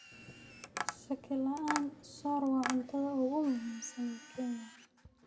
Shaki la'aan, soor waa cuntada ugu muhiimsan ee Kenya.